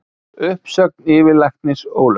Uppsögn yfirlæknis ólögleg